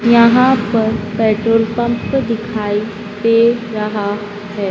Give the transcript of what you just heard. यहां पर petrol pump दिखाई दे रहा हैं।